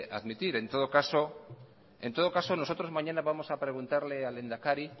admitir en todo caso nosotros mañana vamos a preguntarle al lehendakari